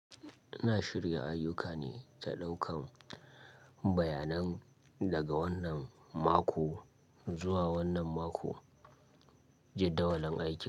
Ina shirya ayyuka ne ta ɗaukan bayanan daga wannan mako zuwa wannan mako, jadawalin aikin.